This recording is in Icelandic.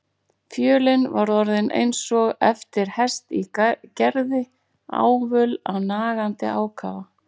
Fjölin var orðin eins og eftir hest í gerði, ávöl af nagandi ákafa.